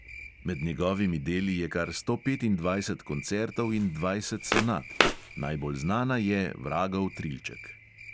Med njegovimi deli je kar sto petindvajset koncertov in dvajset sonat, najbolj znana je vragov trilček.